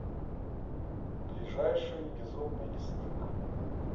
ближайший безумный лесник